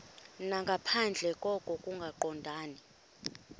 nangaphandle koko kungaqondani